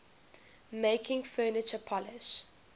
making furniture polish